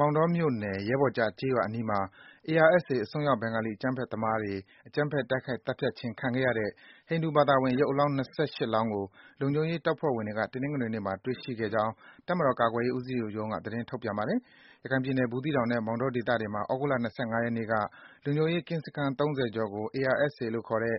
မောင်တောမြို့နယ်၊ ရဲဘော်ကျ ကျေးရွာအနီးမှာ ARSA အစွန်းရောက် ဘင်္ဂါလီအကြမ်းဖက်သမားတွေ အကြမ်းဖက် တိုက်ခိုက်သတ်ဖြတ်ခြင်း ခံခဲ့ရတဲ့ ဟိန္ဒူဘာသာဝင် ရုပ်အလောင်း ၂၈ လောင်းကို လုံခြုံရေးတပ်ဖွဲ့ဝင်တွေက တနင်္ဂနွေနေ့မှာ တွေ့ရှိခဲ့ကြောင်း တပ်မတော် ကာကွယ်ရေးဦးစီးချုပ်ရုံးက သတင်းထုတ်ပြန်ပါတယ်။ ရခိုင်ပြည်နယ်၊ ဘူးသီးတောင်နဲ့ မောင်တော ဒေသတွေမှာ သြဂုတ်လ ၂၅ ရက်နေ့က လုံခြုံရေး ကင်းစခန်း (၃၀) ကျော်ကို ARSA လို့ခေါ်တဲ့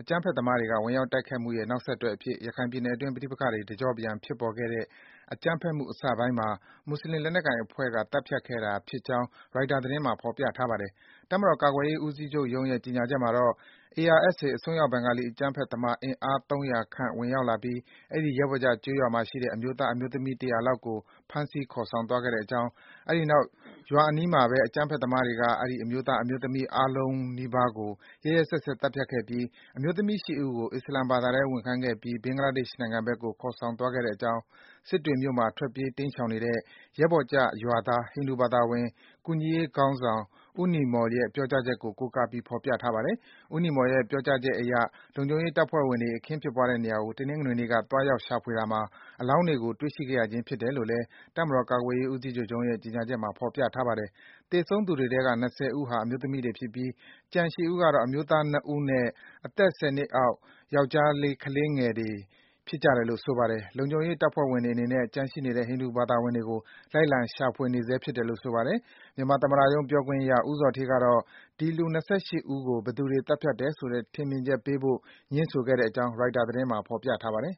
အကြမ်းဖက်သမားတွေက ဝင်ရောက် တိုက်ခိုက်မှုရဲ့ နောက်ဆက်တွဲအဖြစ် ရခိုင်ပြည်နယ်အတွင်း ပဋိပက္ခတွေ တကြော့ပြန် ဖြစ်ပေါ်ခဲ့တဲ့ အကြမ်းဖက်မှု အစပိုင်းမှာ မွတ်ဆလင် လက်နက်ကိုင်အဖွဲ့က သတ်ဖြတ်ခဲ့တာဖြစ်ကြောင်း ရိုက်တာ သတင်းမှာ ဖော်ပြထားပါတယ်။ တပ်မတော် ကာကွယ်ရေး ဦးစီးချုပ်ရုံးရဲ့ ကြေညာချက်မှာတော့ - ARSA အစွန်းရောက်ဘင်္ဂါလီ အကြမ်းဖက်သမား အင်အား ၃၀၀ ခန့် ဝင်ရောက်လာပြီး အဲဒီ ရဲဘော်ကျ ကျေးရွာရှိ အမျိုးသား/အမျိုးသမီး ၁၀၀ ဦးခန့်ကို ဖမ်းဆီး ခေါ်ဆောင်သွားခဲ့ကြောင်း၊ အဲဒီနောက် ရွာအနီးမှာဘဲ အကြမ်း ဖက်သမားတွေက အမျိုးသား/အမျိုးသမီး အားလုံးနီးပါးကို ရက်ရက်စက်စက်သတ်ဖြတ်ခဲ့ပြီး အမျိုးသမီး ၈ ဦးကို အစ္စလာမ်ဘာသထဲ ဝင်ခိုင်းခဲ့ပြီး ဘင်္ဂလားဒေ့ရှ်နိုင်ငံဘက်ကို ဖမ်းဆီး ခေါ်သွားခဲ့ကြောင်း - စစ်တွေမြို့မှာ ထွက်ပြေး တိမ်းရှောင်နေတဲ့ ရဲဘော်ကျရွာသား ဟိန္ဒူဘာသာဝင် ကူညီရေးခေါင်းဆောင် ဦးနီမော်လ်ရဲ့ ပြောကြားချက်ကို ကိုးကားပြီး ဖော်ပြထားပါတယ်။ ဦးနီမော်လ်ရဲ့ ပြောကြားချက်အရ လုံခြုံရေးတပ်ဖွဲ့ဝင်တွေ အခင်းဖြစ်ပွားတဲ့နေရာကို တနင်္ဂနွေနေ့က သွားရောက် ရှာဖွေတာမှာ အလောင်းတွေကို တွေ့ရှိခဲ့ရခြင်း ဖြစ်တယ်လို့လည်း တပ်မတော် ကာကွယ်ရေးဦးစီးချုပ်ရုံးရဲ့ ကြေညာချက်မှာ ဖော်ပြထားပါတယ်။ သေဆုံးသူတွေထဲက ၂၀ ဦးဟာ အမျိုးသမီးတွေဖြစ်ပြီး၊ ကျန် ၈ ဦးကတော့ အမျိုးသား ၂ ဦးနဲ့ အသက် ၁၀ နှစ်အောက် ယောကျ်ားလေး ကလေးငယ်တွေ ဖြစ်တယ်လို့ ဆိုပါတယ်။ လုံခြုံရေး တပ်ဖွဲ့တွေအနေနဲ့ ကျန်ရှိနေတဲ့ ဟိန္ဒူဘာသာဝင်တွေကို လိုက်လံ ရှာဖွေနေဆဲဖြစ်တယ်လို့ ဆိုပါတယ်။ မြန်မာသမ္မတရုံး ပြောခွင့်ရ ဦးဇော်ဌေးကတော့ ဒီ လူ ၂၈ ဦးကို ဘယ်သူ သတ်ဖြတ်တယ်ဆိုတဲ့ ထင်မြင်ချက်ပေးဖို့ ငြင်းဆိုခဲ့ကြောင်း ရိုက်တာ သတင်းမှာ ဖော်ပြထားပါတယ်